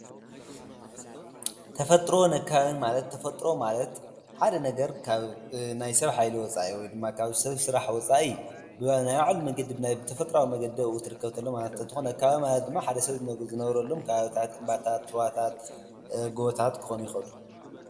ተፈጥሮን ኣከባብን ማለት ተፈጥሮ ማለት ሓደ ነገር ካብ ናይ ሰብ ሓይሊ ወፃኢ ይ ድማ ካብ ሰብ ስራሕ ወፃኢ እዩ፡፡ ብናይ ባዕሉ መገገድ ብናይ ብተፈጥራዊ መንገዲ ብኡ ትርከብ ተሎ ማለት እንትኾን፣ ኣካባቢ ማለት ድማ ሓደ ሰብ ዝነብረሎም ከባብታት እንባታት ፣ሩዋታት ጐቦታት ክኾኑ ይኸእሉ፡፡